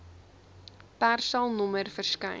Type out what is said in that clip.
persal nommer verskyn